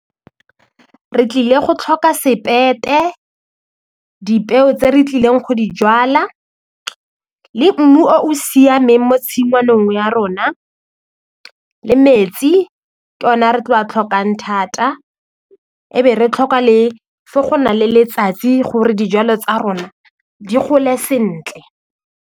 Re tlile go tlhoka sepete, dipeo tse re tlileng go di jala le mmu o o siameng mo tshingwaneng ya rona le metsi ke ona re tlo a tlhokang thata e be re tlhoka le fa go na le letsatsi gore dijalo tsa rona di gole sentle.